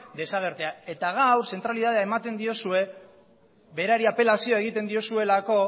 desagertzea eta gaur zentralitatea ematen diozue berari apelazioa egiten diozuelako